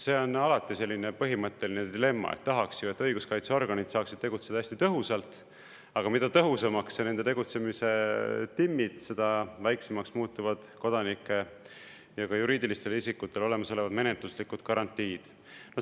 See on alati selline põhimõtteline dilemma, et tahaks ju, et õiguskaitseorganid saaksid tegutseda hästi tõhusalt, aga mida tõhusamaks sa nende tegutsemise timmid, seda väiksemaks muutuvad kodanike ja ka juriidilistele isikutele olemas olevad menetluslikud garantiid.